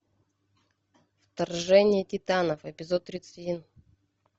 вторжение титанов эпизод тридцать один